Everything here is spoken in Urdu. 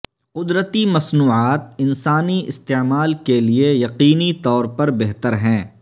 قدرتی مصنوعات انسانی استعمال کے لیے یقینی طور پر بہتر ہیں